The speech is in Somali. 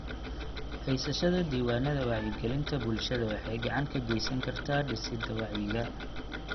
Haysashada diiwaannada wacyigelinta bulshada waxay gacan ka geysan kartaa dhisidda wacyiga.